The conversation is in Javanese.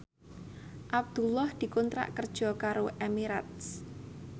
Abdullah dikontrak kerja karo Emirates